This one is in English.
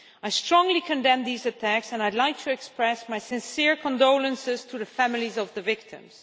I strongly condemn these attacks and I would like to express my sincere condolences to the families of the victims.